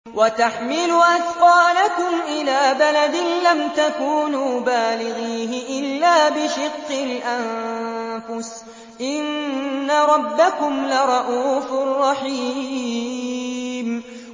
وَتَحْمِلُ أَثْقَالَكُمْ إِلَىٰ بَلَدٍ لَّمْ تَكُونُوا بَالِغِيهِ إِلَّا بِشِقِّ الْأَنفُسِ ۚ إِنَّ رَبَّكُمْ لَرَءُوفٌ رَّحِيمٌ